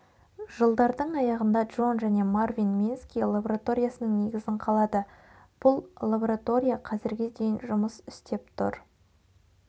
жылдардың аяғында джон және марвин мински лабораториясының негізін қалады бұл лаборатория қазірге дейін жұмыс істеп тұр